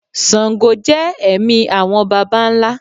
sángò jẹ ẹ̀mí awọn baba ńlá